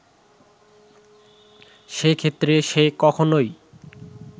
সে ক্ষেত্রে সে কখনোই